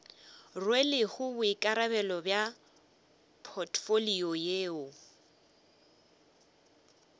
rwelego boikarabelo bja potfolio yeo